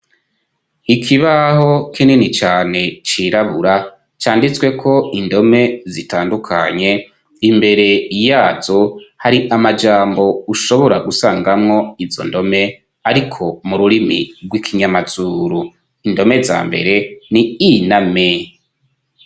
Ikibaho kinini cane cirabura canditsweko indome zitandukanye. Imbere yazo hari amajambo ushobora gusangamwo izo ndome, ariko mu rurimi rw'ikinyamazuru. Indome za mbere ni I na M.